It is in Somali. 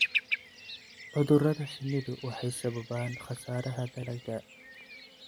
Cudurada shinnidu waxay sababaan khasaaraha dalagga.